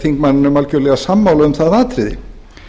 þingmanninum algerlega sammála um það atriði